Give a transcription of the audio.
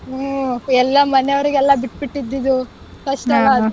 ಹ್ಮ್ ಎಲ್ಲ ಮನೆವರಗೆಲ್ಲ ಬಿಟ್ಬಿಟ್ಟಿದ್ದು first ಅದು.